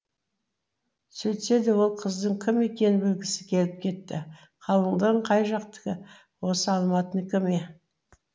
сөйтсе де ол қыздың кім екенін білгісі келіп кетті қалыңдығың қай жақтікі осы алматыныкі ме